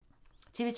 TV 2